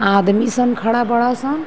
आदमी सन खड़ा बड़ासन।